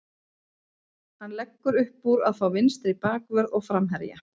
Hann leggur uppúr að fá vinstri bakvörð og framherja.